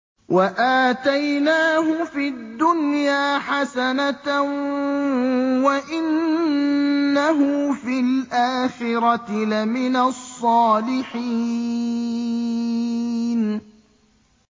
وَآتَيْنَاهُ فِي الدُّنْيَا حَسَنَةً ۖ وَإِنَّهُ فِي الْآخِرَةِ لَمِنَ الصَّالِحِينَ